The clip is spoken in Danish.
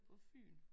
På Fyn